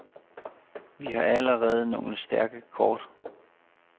Vi har allerede nogle stærke kort.